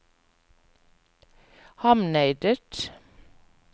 Hamneidet